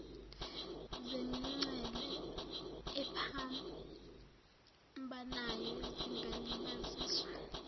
zemingcele ephambanayo zingalibaziswa